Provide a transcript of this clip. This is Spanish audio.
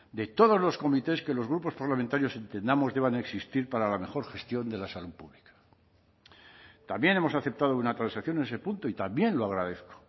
de todos los comités que los grupos parlamentarios entendamos deban existir para la mejor gestión de la salud pública también hemos aceptado una transacción en ese punto y también lo agradezco